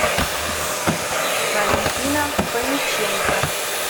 валентина фомиченко